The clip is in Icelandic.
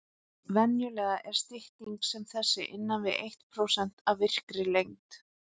Venjulega er stytting sem þessi innan við eitt prósent af virkri lengd.